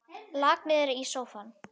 Lak niður í sófann.